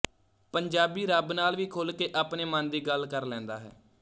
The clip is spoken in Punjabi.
ਪੰਜਾਬੀ ਰੱਬ ਨਾਲ ਵੀ ਖੁੱਲ੍ਹ ਕੇ ਆਪਣੇ ਮਨ ਦੀ ਗੱਲ ਕਰ ਲੈਂਦਾ ਹੈ